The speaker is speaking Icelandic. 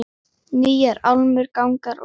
Nýjar álmur, gangar og stofur.